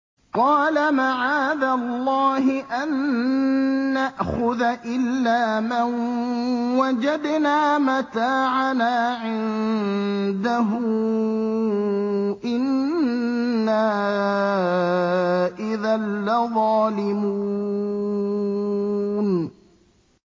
قَالَ مَعَاذَ اللَّهِ أَن نَّأْخُذَ إِلَّا مَن وَجَدْنَا مَتَاعَنَا عِندَهُ إِنَّا إِذًا لَّظَالِمُونَ